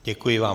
Děkuji vám.